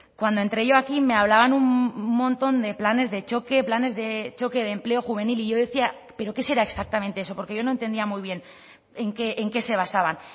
cuando entré yo aquí me hablaban un montón de planes de choque planes de choque de empleo juvenil y yo decía pero qué será exactamente eso porque yo no entendía muy bien en qué se basaban